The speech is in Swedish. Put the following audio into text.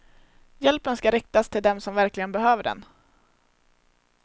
Hjälpen ska riktas till dem som verkligen behöver den.